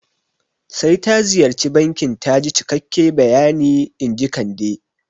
Sai ta ziyarci bankin taji cikakke bayani inji Kande